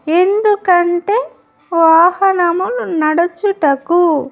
ఎందుకంటే వాహనమున్ నడుచుటకు.